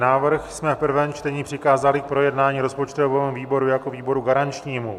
Návrh jsme v prvém čtení přikázali k projednání rozpočtovému výboru jako výboru garančnímu.